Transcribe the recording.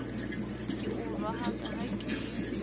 ke o rohaka ha ke